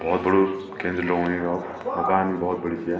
भौत बड़ु केंद्र लगणु य अब दुकान भी भौत बड़ी च या।